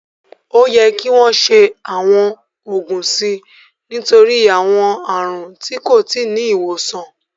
Ó yẹ kí wọ́n ṣe àwọn ògùn sí i nítorí àwọn àrùn tí kò tí ì ní ìwòsàn